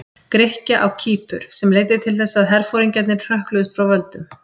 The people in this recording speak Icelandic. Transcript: Grikkja á Kýpur, sem leiddi til þess að herforingjarnir hrökkluðust frá völdum.